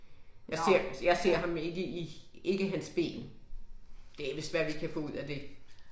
Jeg ser jeg ham ikke i, ikke hans ben. Det er vidst hvad vi kan få ud af det